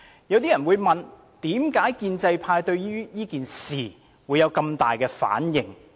有些人會問，為何建制派對此事有這麼大的反應？